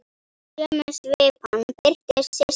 Í sömu svipan birtist Systa.